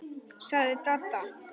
sagði Dadda.